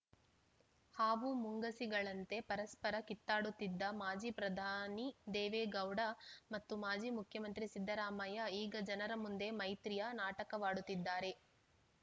ಹಾವು ಮುಂಗುಸಿಗಳಂತೆ ಪರಸ್ಪರ ಕಿತ್ತಾಡುತ್ತಿದ್ದ ಮಾಜಿಪ್ರಧಾನಿ ದೇವೇಗೌಡ ಮತ್ತು ಮಾಜಿ ಮುಖ್ಯಮಂತ್ರಿ ಸಿದ್ದರಾಮಯ್ಯ ಈಗ ಜನರ ಮುಂದೆ ಮೈತ್ರಿಯ ನಾಟಕವಾಡುತ್ತಿದ್ದಾರೆ